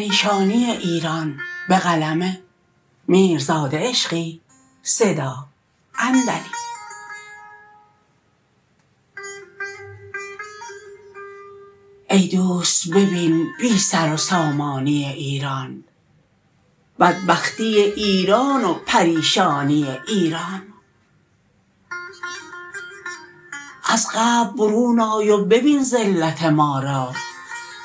ای دوست ببین بی سر و سامانی ایران بدبختی ایران و پریشانی ایران از قبر برون آی و ببین ذلت ما را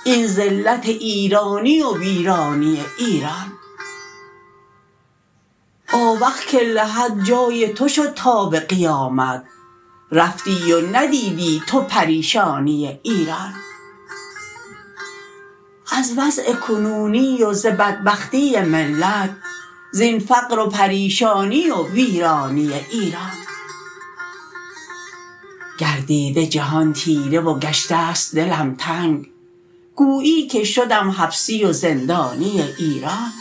این ذلت ایرانی و ویرانی ایران آوخ که لحد جای تو شد تا به قیامت رفتی و ندیدی تو پریشانی ایران از وضع کنونی و ز بدبختی ملت زین فقر و پریشانی و ویرانی ایران گردیده جهان تیره و گشته ست دلم تنگ گویی که شدم حبسی و زندانی ایران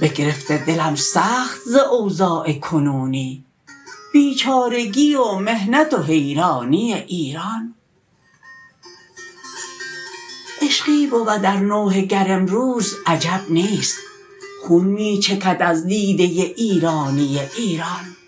بگرفته دلم سخت ز اوضاع کنونی بیچارگی و محنت و حیرانی ایران عشقی بود ار نوحه گر امروز عجب نیست خون می چکد از دیده ایرانی ایران